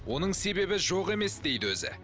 оның себебі жоқ емес дейді өзі